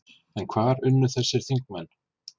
En hvar unnu þessir þingmenn?